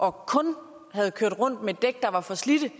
og kun havde kørt rundt med dæk der var for slidte